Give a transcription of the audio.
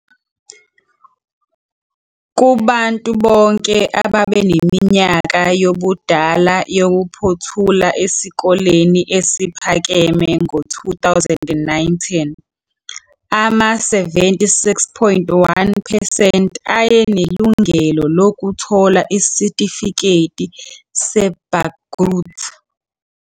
Kubantu bonke ababeneminyaka yobudala yokuphothula esikoleni esiphakeme ngo-2019, ama-76.1 percent ayenelungelo lokuthola isitifiketi seBagrut.